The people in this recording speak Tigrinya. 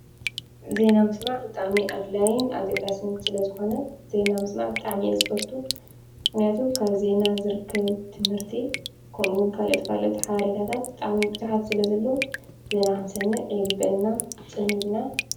ዜና ምስማዕ ብጣዕሚ ኣድላይን ኣገዳሲን ስለ ዝኮነ ዜና ምስማዕ ብጣዕሚ እየ ዝፈቱ፡፡ ምክንያቱ ካብ ዜና ዝርከብ ትምህርቲ ከምኡ እውን ካልኦት ካልኦት ሓበሬታት ብጣዕሚ ቡዙሓት ስለ ዘለዉ ዜና ክንሰምዕ ይግበአና ፅን ኢልና ፡፡